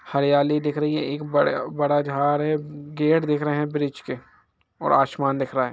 हरियाली दिख रही है एक बड़े बड़ा झाड़ है गेट दिख रहे ब्रिज के ओर आसमान दिख रहा है ।